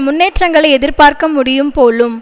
முன்னேற்றங்களை எதிர்பார்க்கமுடியும் போலும்